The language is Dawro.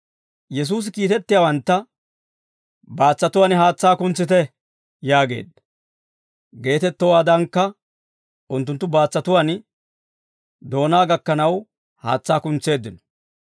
Yesuusi kiitettiyaawantta, «Baatsatuwaan haatsaa kuntsite» yaageedda; geetettowaadankka unttunttu baatsatuwaan doonaa gakkanaw haatsaa kuntseeddino.